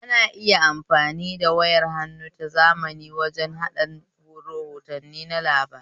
Ana iya amfani da wayar hannu ta zamani waje naɗan rahotanni na labarai